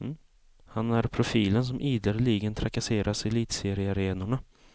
Han är profilen som ideligen trakasseras i elitseriearenorna.